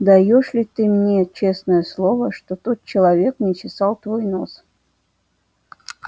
даёшь ли ты мне честное слово что тот человек не чесал твой нос